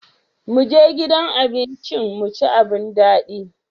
Mu je gidan abincin mu ci abun daɗi.